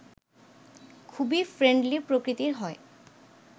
খুবই ফ্রেন্ডলি প্রকৃতির হয়